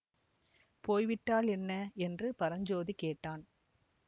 போய்விட்டால் என்ன என்று பரஞ்சோதி கேட்டான்